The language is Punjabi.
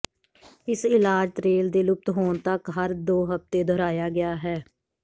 ਇਸ ਇਲਾਜ ਤ੍ਰੇਲ ਦੇ ਲੁਪਤ ਹੋਣ ਤੱਕ ਹਰ ਦੋ ਹਫ਼ਤੇ ਦੁਹਰਾਇਆ ਗਿਆ ਹੈ